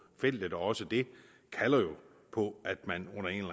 feltet og også det kalder jo på at man under en